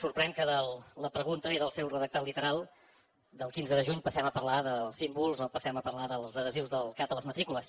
sorprèn que de la pregunta i del seu redactat literal del quinze de juny passem a parlar dels símbols o passem a parlar dels adhesius del cat a les matrícules